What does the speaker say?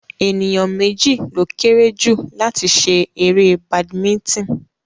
Ènìyàn méjì ló kéré jù láti ṣe eré badimítìn